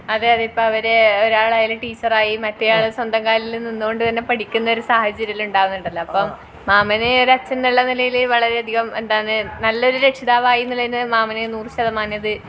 അതെയതെ അവര് ഇപ്പൊ ഒരാളായാൽ ടീച്ചറായി മറ്റെയാൾ സ്വന്തം കാലിൽ മറ്റെയാൾ സ്വന്തം കാലിൽ നിന്നുകൊണ്ട് തന്നെ പഠിക്കുന്ന ഒരു സാഹചര്യം എല്ലാം ഉണ്ടാകുനുണ്ടല്ലോ അപ്പോം മാമന് ഒരു അച്ഛൻ എന്ന നിലയിൽ വളരെയധികം എന്താണ് നല്ലൊരു രക്ഷിതാവായി എന്നുള്ളതിന് മാമന് നൂർ ശതമാനം